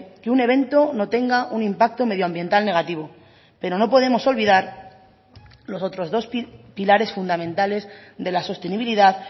que un evento no tenga un impacto medioambiental negativo pero no podemos olvidar los otros dos pilares fundamentales de la sostenibilidad